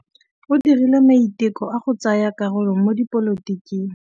O dirile maitekô a go tsaya karolo mo dipolotiking.